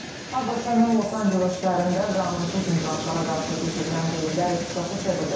ABŞ-ın Los-Anceles şəhərində qanunsuz miqrantlara qarşı keçirilən reydlər ixtişaşa çevrilib.